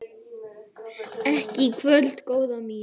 Ekki í kvöld, góða mín.